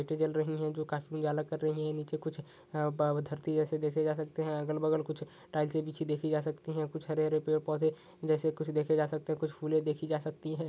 लाइटे जल जो काफी उजाला कर रही है नीचे कुछ है बा धरती जैसे देखे जा सकते हैं अगल बगल कुछ टाइलसे बिछी दिखी जा सकती है कुछ हरे हरे पेड़ पौधे जैसे कुछ देखे जा सकते हैं कुछ फूले देखी जा सकती हैं ।